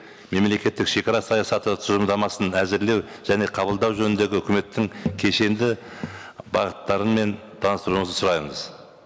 мемлекеттік шегара саясаты тұжырымдамасын әзірлеу және қабылдау жөніндегі үкіметтің кешенді бағыттарымен таныстыруыңызды сұраймыз